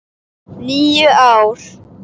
. níu ár!